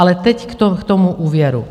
Ale teď k tomu úvěru.